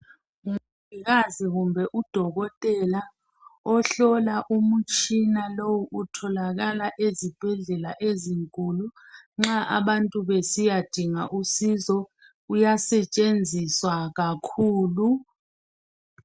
Umongikazi kumbe udokotela ohlola umtshina lo otholakala ezibhedlela ezinkulu nxa abantu besiyadinga usizo uyasetshenziswa kakhulu.